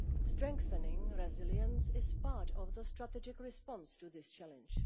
Strengthening resilience is part of the strategic response to this challenge.